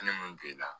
Ne mun b'e la